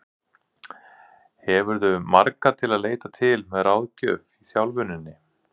Hefurðu marga til að leita til með ráðgjöf í þjálfuninni?